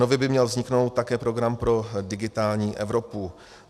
Nově by měl vzniknout také program pro digitální Evropu.